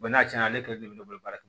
n'a cɛnna ale kelen de bɛ ne bolo baara